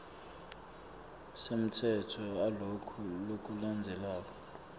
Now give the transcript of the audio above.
semtsetfo aloku lokulandzelako